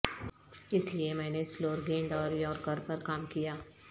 اس لئے میں نے سلور گیند اور یارکر پر کام کیا